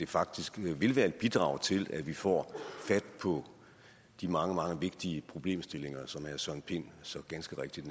faktisk vil være et bidrag til at vi får fat på de mange mange vigtige problemstillinger som herre søren pind så ganske rigtigt